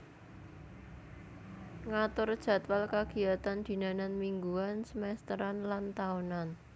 Ngatur jadwal kagiyatan dinanan mingguan semesteran lan taunan